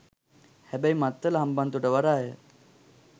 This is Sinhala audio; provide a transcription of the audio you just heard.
හැබැයි මත්තල හම්බන්තොට වරාය